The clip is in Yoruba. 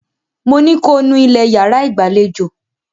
Mo ní ko nú ilẹ̀ yàrá ìgbàlejò!